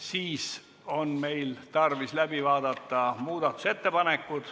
Meil on tarvis läbi vaadata muudatusettepanekud.